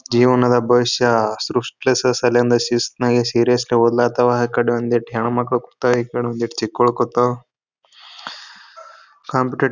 ಜೀವನದ ಭವಿಷ್ಯ ಸೃಟ್ಲೆಸ್ಸ್ ಅಲ್ಲಿಂದ ಶಿಸ್ತ್ ನಗೆ ಸೀರಿಯಸ್ ಆಗಿ ಬದ್ಲಾತಾವ್ ಅಕಾಡ್ ಒಂದೆರಡು ಹೆಣ್ಣ್ ಮಕ್ಕಳು ಕೂಟವು ಈ ಕಡೆ ಚಿಕ್ಕವಳು ಕೂತಳು ಕಾಂಪಿಟೆ--